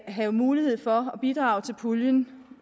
have mulighed for at bidrage til puljen